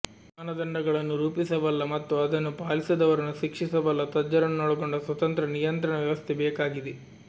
ಮಾನದಂಡಗಳನ್ನು ರೂಪಿಸಬಲ್ಲ ಮತ್ತು ಅದನ್ನು ಪಾಲಿಸದವರನ್ನು ಶಿಕ್ಷಿಸಬಲ್ಲ ತಜ್ಞರನ್ನೊಳಗೊಂಡ ಸ್ವತಂತ್ರ ನಿಯಂತ್ರಣ ವ್ಯವಸ್ಥೆ ಬೇಕಾಗಿದೆ